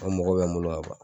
O mɔgɔ bɛ n bolo yan